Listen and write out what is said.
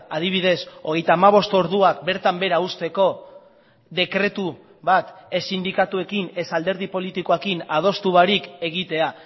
adibidez hogeita hamabost orduak bertan behera uzteko dekretu bat ez sindikatuekin ez alderdi politikoekin adostu barik egitea